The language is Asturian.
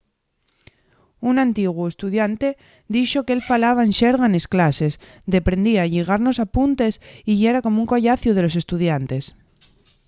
un antiguu estudiante dixo qu'él falaba en xerga nes clases deprendía a lligar nos apuntes y yera como un collaciu de los estudiantes